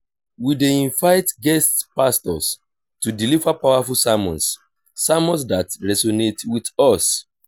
we dey learn how um to um apply our faith in everyday situations through practical lessons.